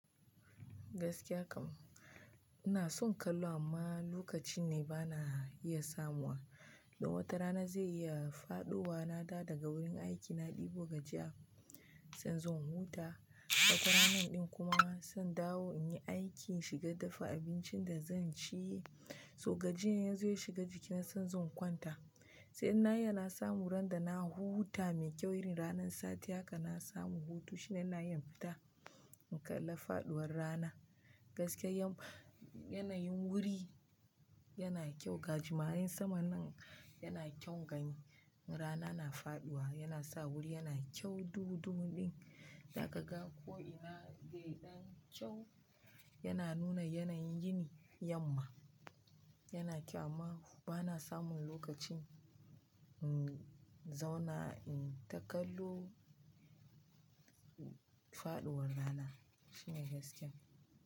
Gaskiya kam, ina son kallo amma lokaci ne bana iya samuwa. Wata rana zai iya faɗowa na dawo daga wurin aiki na ɗibo gajiya, zan zo in huta. Wata ranar ɗin kuma zan dawo in yi aiki, in shiga dafa abincin da zan ci. So gajiyar ya zo ya shiga jikina, sai in zo in kwanta. Sai in na iya na samu ran da na huta mai kyau, irin ranar sati haka na samu hutu shine ina iya in fita in kalla faɗuwar rana. Gaskiya yanayin wuri yana kyau. Gajimaren saman nan yana kyan gani. Rana na faɗuwa yana sa wuri yana kyau. Duhu-duhu ɗin, za kaga ko'ina zai ɗan kyau. Yana nuna yanayin yini, yamma yana kyau amma bana samun lokacin in zauna in ta kallo, faɗuwar rana. Shine gaskiyan.